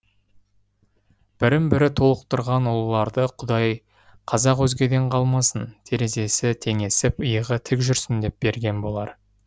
бірін бірі толықтырған ұлыларды құдай қазақ өзгеден қалмасын терезесі теңесіп иығы тік жүрсін деп берген болар